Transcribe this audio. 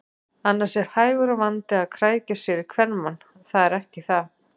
Annars er hægur vandi að krækja sér í kvenmann, það er ekki það.